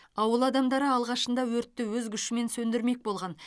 ауыл адамдары алғашында өртті өз күшімен сөндірмек болған